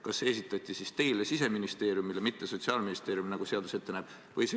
Kas see esitati siis Siseministeeriumile, mitte Sotsiaalministeeriumile, nagu seadus ette näeb?